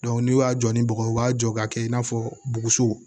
n'u y'a jɔ ni bɔgɔ ye u b'a jɔ k'a kɛ i n'a fɔ buguso